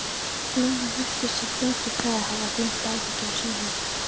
Lúna virtist í fljótu bragði hafa gleymt áhyggjum sínum.